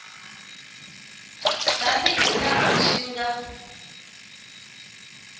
tani hi laha swi nga